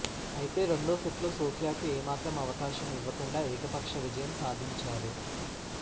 అయితే రెండో సెట్లో సోఫియాకు ఏమాత్రం అవకాశం ఇవ్వకుండా ఏకపక్ష విజయం సాధించారు